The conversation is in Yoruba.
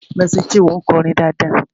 "Mercy Chinwo" nkorin dáadáa